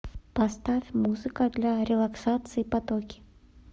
поставь музыка для релаксации потоки